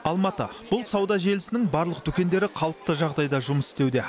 алматы бұл сауда желісінің барлық дүкендері қалыпты жағдайда жұмыс істеуде